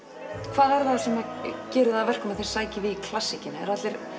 hvað er það sem gerir það að verkum að þið sækið í klassíkina eru allir